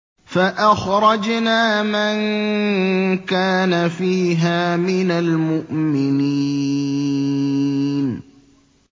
فَأَخْرَجْنَا مَن كَانَ فِيهَا مِنَ الْمُؤْمِنِينَ